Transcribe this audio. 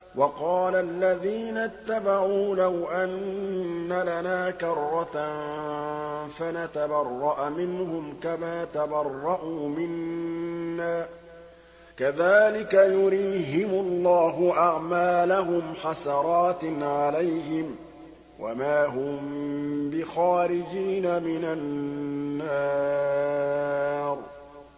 وَقَالَ الَّذِينَ اتَّبَعُوا لَوْ أَنَّ لَنَا كَرَّةً فَنَتَبَرَّأَ مِنْهُمْ كَمَا تَبَرَّءُوا مِنَّا ۗ كَذَٰلِكَ يُرِيهِمُ اللَّهُ أَعْمَالَهُمْ حَسَرَاتٍ عَلَيْهِمْ ۖ وَمَا هُم بِخَارِجِينَ مِنَ النَّارِ